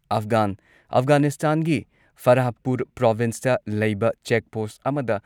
ꯑꯐꯒꯥꯟ ꯑꯐꯒꯥꯅꯤꯁꯇꯥꯟꯒꯤ ꯐꯥꯔꯥꯄꯨꯔ ꯄ꯭ꯔꯣꯚꯤꯟꯁꯇ ꯂꯩꯕ ꯆꯦꯛ ꯄꯣꯁꯠ ꯑꯃꯗ